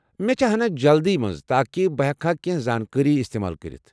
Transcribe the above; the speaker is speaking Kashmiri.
مےٚ چھےٚ ہنا جلدی منز تاكہِ بہٕ ہیكہا كینہہ زانكٲری استمال كرِتھ ۔